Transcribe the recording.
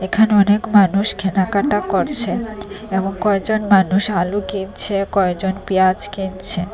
এখানে অনেক মানুষ কেনাকাটা করছে এবং কয়েকজন মানুষ আলু কিনছে কয়েকজন পিয়াজ কিনছে।